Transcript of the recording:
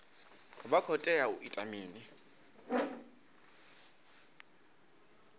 vha khou tea u ita mini